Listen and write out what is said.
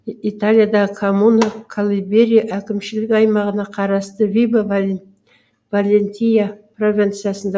италиядағы коммуна калыберия әкімшілік аймағына қарасты вибо валентия провинциясында